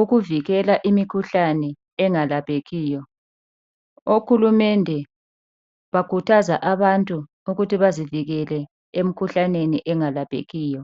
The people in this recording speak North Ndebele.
ukuvikela imikhuhlane engalaphekiyo. Ohurumende uyakhuthaza abantu ukuthi bazivikele emikhuhlaneni engalaphekiyo.